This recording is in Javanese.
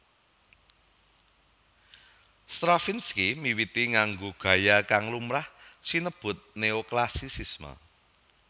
Stravinsky miwiti nganggo gaya kang lumrah sinebut Neoklasisisme